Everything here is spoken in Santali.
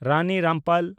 ᱨᱟᱱᱤ ᱨᱟᱢᱯᱟᱞ